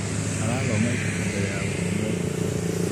Arathoma ibuku mbere ya gũkoma ũtukũ.